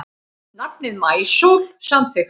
Nafnið Maísól samþykkt